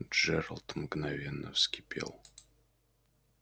джералд мгновенно вскипел